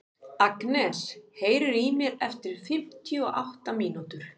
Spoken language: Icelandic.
Agnes, heyrðu í mér eftir fimmtíu og átta mínútur.